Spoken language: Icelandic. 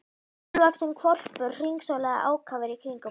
Hálfvaxinn hvolpur hringsólaði ákafur í kringum hana.